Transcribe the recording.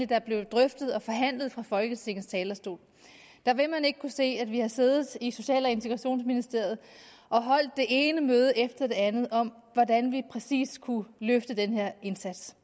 der blev drøftet og forhandlet fra folketingets talerstol da vil man ikke kunne se at vi har siddet i social og integrationsministeriet og holdt det ene møde efter det andet om hvordan vi præcis kunne løfte den her indsats